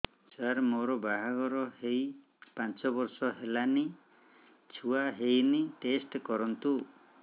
ସାର ମୋର ବାହାଘର ହେଇ ପାଞ୍ଚ ବର୍ଷ ହେଲାନି ଛୁଆ ହେଇନି ଟେଷ୍ଟ କରନ୍ତୁ